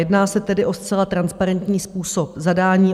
Jedná se tedy o zcela transparentní způsob zadání.